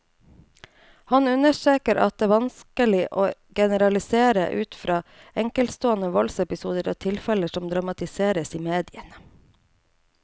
Han understreker at det vanskelig å generalisere ut fra enkeltstående voldsepisoder og tilfeller som dramatiseres i mediene.